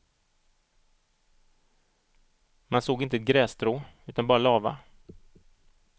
Man såg inte ett grässtrå utan bara lava.